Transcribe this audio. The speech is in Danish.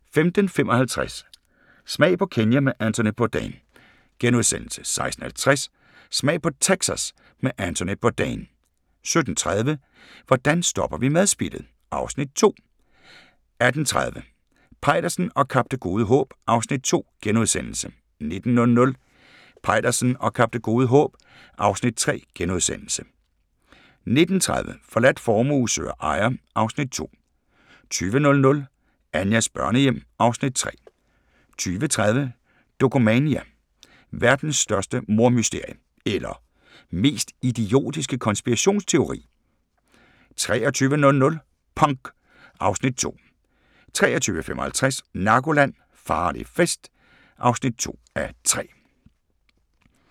15:55: Smag på Kenya med Anthony Bourdain * 16:50: Smag på Texas med Anthony Bourdain 17:30: Hvordan stopper vi madspildet? (Afs. 2) 18:30: Peitersen og Kap Det Gode Håb (Afs. 2)* 19:00: Peitersen og Kap Det Gode Håb (Afs. 3)* 19:30: Forladt formue søger ejer (Afs. 2) 20:00: Anjas børnehjem (Afs. 3) 20:30: Dokumania: Verdens største mordmysterie – eller mest idiotiske konspirationsteori? 23:00: Punk (Afs. 2) 23:55: Narkoland - Farlig fest (2:3)